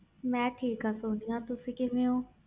ਮੈਂ ਠੀਕ ਹਾਂ ਤੁਸੀ ਕਿਵੇਂ ਹੋ